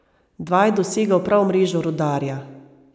Dva je dosegel prav v mrežo Rudarja.